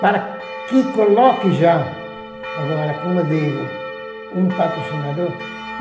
para que coloque já, agora, como eu digo, um patrocinador.